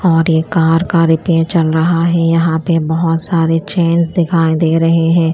और ये कार का रिपेयर चल रहा है यहां पे बहोत सारे चेंज दिखाई दे रहे हैं।